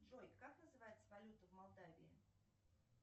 джой как называется валюта в молдавии